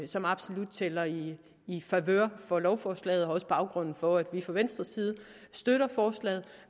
som absolut tæller i i favør for lovforslaget også baggrunden for at vi fra venstres side støtter forslaget